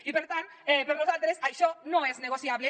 i per tant per nosaltres això no és negociable